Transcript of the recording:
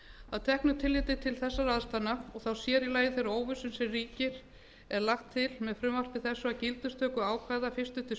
að teknu tilliti til þessara aðstæðna og þá sér í lagi þeirrar óvissu sem ríkir er lagt til með frumvarpi þessu að gildistökuákvæði fyrstu til